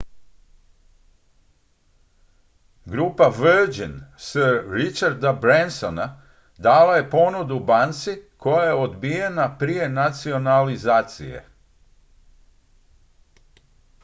grupa virgin sir richarda bransona dala je ponudu banci koja je odbijena prije nacionalizacije